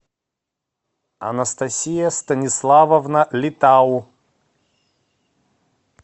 анастасия станиславовна литау